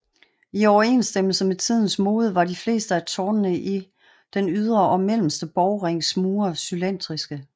I overensstemmelse med tidens mode var de fleste af tårnene i den ydre og mellemste borgrings mure cylindriske